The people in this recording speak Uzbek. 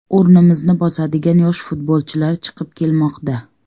O‘rnimizni bosadigan yosh futbolchilar chiqib kelmoqda.